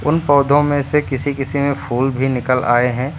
पौधों में से किसी किसी में फूल भी निकल आए हैं।